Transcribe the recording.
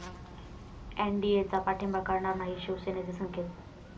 एनडीएचा पाठिंबा काढणार नाही, शिवसेनेचे संकेत